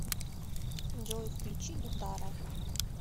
джой включи гитара